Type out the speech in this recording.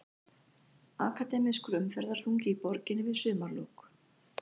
Akademískur umferðarþungi í borginni við sumarlok